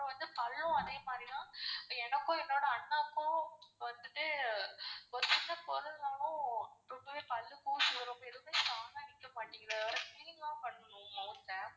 அப்றம் வந்து பல்லும் அதே மாதிரிதான் எனக்கும் என்னோட அண்ணாக்கும் வந்துட்டு ஒரு சின்ன ரொம்பவே பல்லு கூசுது. எதுமே strong ஆ நிக்க மாட்டிகிது வேற clean லாம் பண்ணனும் mouth ஆ.